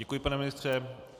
Děkuji, pane ministře.